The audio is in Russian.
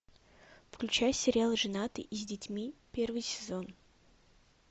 включай сериал женаты и с детьми первый сезон